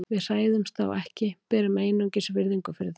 Við hræðumst þá ekki, berum einungis virðingu fyrir þeim.